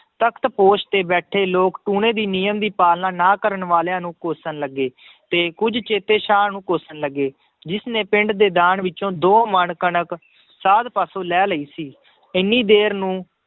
ਤਖ਼ਤ ਪੋਸ਼ ਤੇ ਬੈਠੇ ਲੋਕ ਟੂਣੇ ਦੇ ਨਿਯਮ ਦੀ ਪਾਲਣਾ ਨਾ ਕਰਨ ਵਾਲਿਆਂ ਨੂੰ ਕੋਸ਼ਣ ਲੱਗੇ ਤੇ ਕੁੱਝ ਚੇਤੇ ਸਾਹ ਨੂੰ ਕੋਸ਼ਣ ਲੱਗੇ, ਜਿਸਨੇ ਪਿੰਡ ਦੇ ਦਾਨ ਵਿੱਚੋਂ ਦੋ ਮਣ ਕਣਕ ਸਾਧ ਪਾਸੋਂ ਲੈ ਲਈ ਸੀ ਇੰਨੀ ਦੇਰ ਨੂੰ